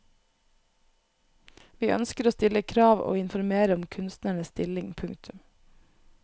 Vi ønsker å stille krav og informere om kunstnernes stilling. punktum